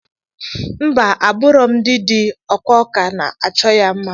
Mba aburọm ndi ndi ọkwa akwa na achọ ya mma.